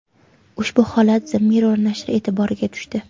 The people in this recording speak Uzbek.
Ushbu holat The Mirror nashri e’tiboriga tushdi .